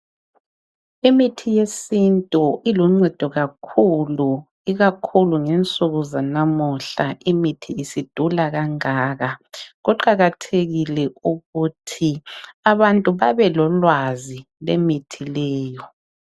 Imithi yesintu iluncedo kakhulu ,ikakhulu ngensuku zanamuhla imithi isidula kangaka. Kuqakathekile ukuthi abantu babelolwazi lwemithi leyo.